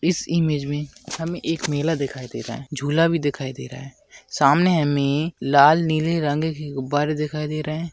इस इमेज में हमें एक मेला दिखाई दे रहा है झूला भी दिखाई दे रहा है सामने हमें लाल नीले रंगके गुब्बारे दिखाई दे रहे है।